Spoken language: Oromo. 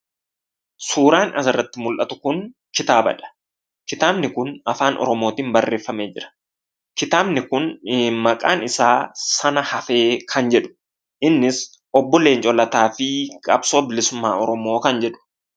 Suuraan asirratti mul'atu kun kitaabadha. Kitaabni kun Afaan Oromootiin barreeffamee jira. Kitaabni kun maqaan isaa "SANA-HAFEE" kan jedhu, Innis Obbo Leencoo Lataa fi qabsoo bilisummaa Oromoo kan jedhu.